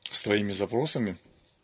с твоими запросами